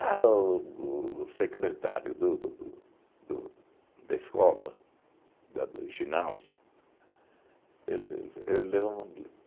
Ah, o o secretário do do do do da escola, da do ginásio, ele